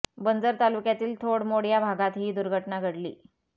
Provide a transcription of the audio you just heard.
बंजर तालुक्यातील धोथ मोड या भागात ही दुर्घटना घडली